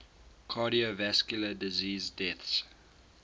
cardiovascular disease deaths